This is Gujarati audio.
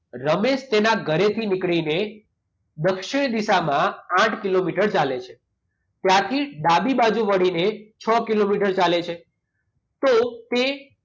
રમેશ તેના ઘરેથી નીકળીને દક્ષિણ દિશામાં આઠ કિલોમીટર ચાલે છે. ત્યાંથી ડાબી બાજુ વળીને છ કિલોમીટર ચાલે છે. તો તે